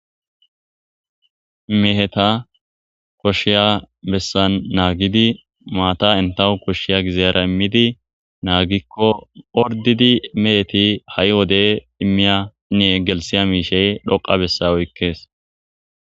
Meheta koshshiya bessan naagidi maata entahu koshshiya gizeera immidi naagikko ordidi meheti ha'i wode immiyanne gelsiya miishey dhoqa bessa oykkees.